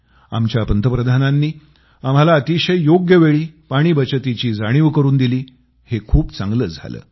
आमच्या पंतप्रधानांनी आम्हाला अतिशय योग्य वेळी पाणी बचतीची जाणीव करून दिली हे खूप चांगलं झालं